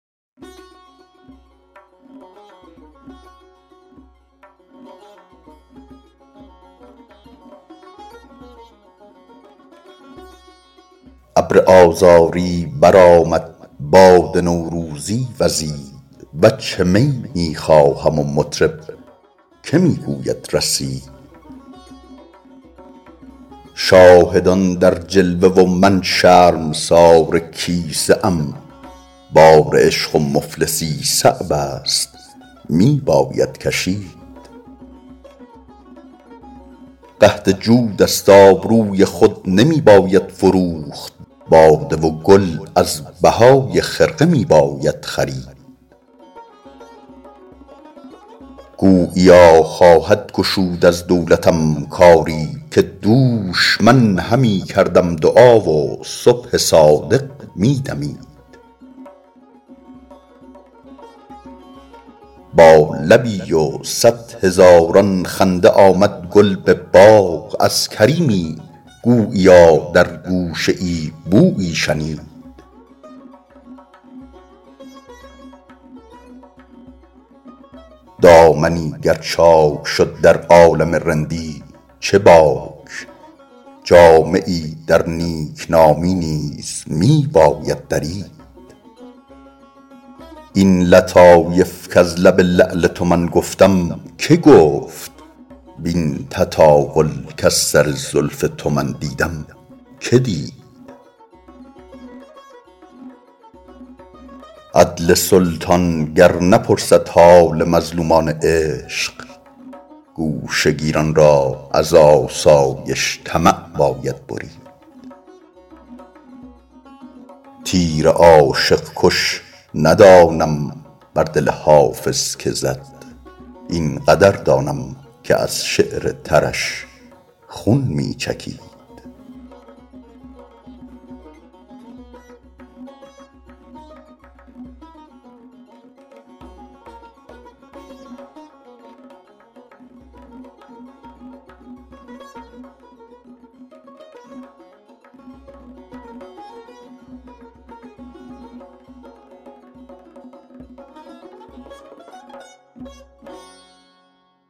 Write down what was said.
ابر آذاری برآمد باد نوروزی وزید وجه می می خواهم و مطرب که می گوید رسید شاهدان در جلوه و من شرمسار کیسه ام بار عشق و مفلسی صعب است می باید کشید قحط جود است آبروی خود نمی باید فروخت باده و گل از بهای خرقه می باید خرید گوییا خواهد گشود از دولتم کاری که دوش من همی کردم دعا و صبح صادق می دمید با لبی و صد هزاران خنده آمد گل به باغ از کریمی گوییا در گوشه ای بویی شنید دامنی گر چاک شد در عالم رندی چه باک جامه ای در نیکنامی نیز می باید درید این لطایف کز لب لعل تو من گفتم که گفت وین تطاول کز سر زلف تو من دیدم که دید عدل سلطان گر نپرسد حال مظلومان عشق گوشه گیران را ز آسایش طمع باید برید تیر عاشق کش ندانم بر دل حافظ که زد این قدر دانم که از شعر ترش خون می چکید